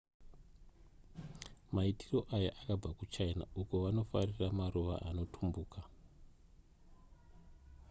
maitiro aya akabva kuchina uko vanofarira maruva anotumbuka